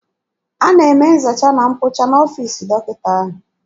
A na-eme nzacha na mkpocha n'ọfiisi dọkịta ahụ.